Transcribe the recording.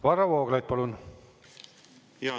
Varro Vooglaid, palun!